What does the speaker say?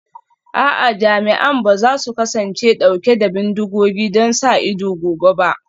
A'a, jami'an ba za su kasance dauke da bindigogi don sa ido gobe ba